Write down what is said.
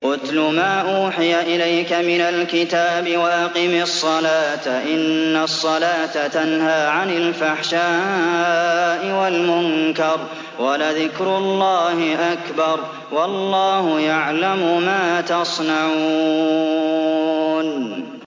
اتْلُ مَا أُوحِيَ إِلَيْكَ مِنَ الْكِتَابِ وَأَقِمِ الصَّلَاةَ ۖ إِنَّ الصَّلَاةَ تَنْهَىٰ عَنِ الْفَحْشَاءِ وَالْمُنكَرِ ۗ وَلَذِكْرُ اللَّهِ أَكْبَرُ ۗ وَاللَّهُ يَعْلَمُ مَا تَصْنَعُونَ